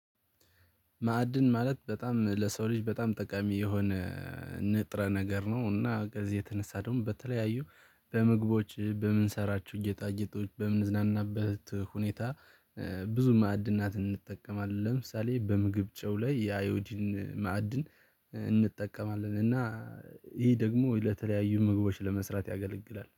ማዕድን ማለት በጣም ለሰው ልጅ በጣም ጠቃሚ የሆነ ንጥረ ነገር ነው። እና ከዚህ የተነሳ ደግሞ በተለያዩ በምግቦች በምንሰራችሁ ጌጣጌጦች በምንዝናናበት ሁኔታ ብዙ ማዕድናት እንጠቀማለን። ለምሳሌ በምግብ ጨው ላይ የአዮዲን ማዕድን እንጠቀማለን። እና ይሄ ደግሞ ለተለያዩ ምግቦች ለመስራት ያገለግላል